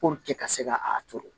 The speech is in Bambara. ka se ka a turu